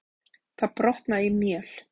Það brotnaði í mél.